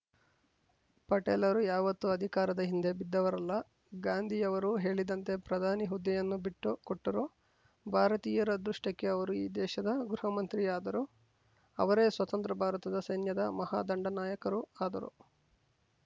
ಪಟೇಲರು ಯಾವತ್ತೂ ಅಧಿಕಾರದ ಹಿಂದೆ ಬಿದ್ದವರಲ್ಲ ಗಾಂಧಿಯವರು ಹೇಳಿದಂತೆ ಪ್ರಧಾನಿ ಹುದ್ದೆಯನ್ನು ಬಿಟ್ಟು ಕೊಟ್ಟರೂ ಭಾರತೀಯರ ಅದೃಷ್ಟಕ್ಕೆ ಅವರು ಈ ದೇಶದ ಗೃಹಮಂತ್ರಿ ಆದರು ಅವರೇ ಸ್ವತಂತ್ರ ಭಾರತದ ಸೈನ್ಯದ ಮಹಾ ದಂಡನಾಯಕರೂ ಆದರು